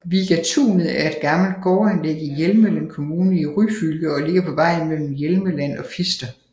Vigatunet er et gammelt gårdanlæg i Hjelmeland kommune i Ryfylke og ligger på vejen mellem Hjelmeland og Fister